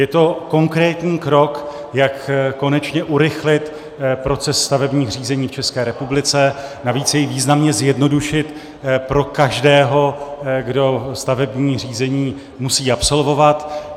Je to konkrétní krok, jak konečně urychlit proces stavebních řízení v České republice, navíc jej významně zjednodušit pro každého, kdo stavební řízení musí absolvovat.